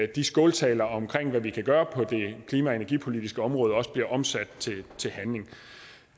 de skåltaler om hvad vi kan gøre på det klima og energipolitiske område også bliver omsat til handling